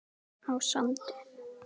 á Sandi.